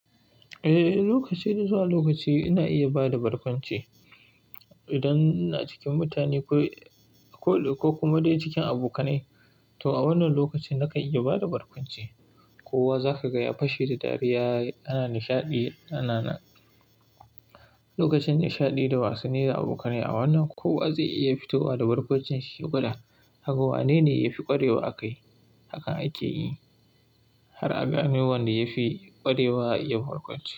Eh, lokaci da zuwa lokaci ina iya bada barkwanci. Idan ina cikin mutane ko kuma dai cikin abokanai, to a wannan lokacin na kan iya bada barkwanci. Kowa zaka gaya fashe da dariya, ana nishaɗi. Lokacin nishaɗi da wasanni da abokanai, a wannan kowa zai iya fitowa da barkwancin shi ya gwada aga wane ne yafi ƙwarewa a kai. Haka ake yi, har a gane wanda yafi ƙwarewa a iya barkwanci.